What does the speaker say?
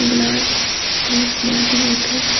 glass और पानी बोतल र--